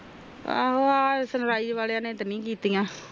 ਆਹੋ ਆ ਨੇ ਰਾਜੇ ਵਾਲਿਆਂ ਤਾ ਨੀ ਕੀਤੀਆਂ